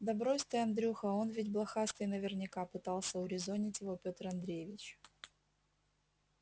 да брось ты андрюха он ведь блохастый наверняка пытался урезонить его пётр андреевич